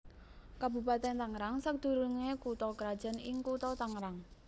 Kabupatèn Tangerang sadurungé kutha krajan ing Kutha Tangerang